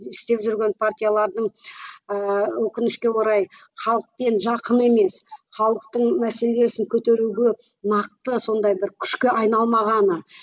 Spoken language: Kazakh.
істеп жүрген партиялардың ыыы өкінішке орай халықпен жақын емес халықтың мәселесін көтеруге нақты сондай бір күшке айналмағаны